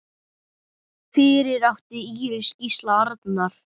Fyrir átti Íris Gísla Arnar.